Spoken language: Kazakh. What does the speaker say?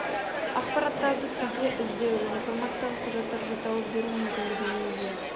ақпараттарды тілде іздеу және және форматтағы құжаттарды тауып беру мүмкіндігіне ие